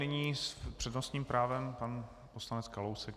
Nyní s přednostním právem pan poslanec Kalousek.